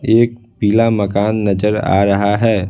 एक पीला मकान नजर आ रहा है।